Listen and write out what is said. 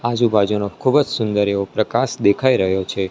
આજુ બાજુનો ખુબજ સુંદર એવો પ્રકાશ દેખાઈ રહ્યો છે.